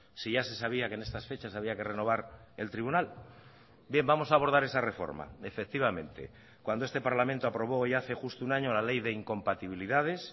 si ya se sabía que en estas fechas había que renovar el tribunal bien vamos a abordar esa reforma efectivamente cuando este parlamento aprobó hoy hace justo un año la ley de incompatibilidades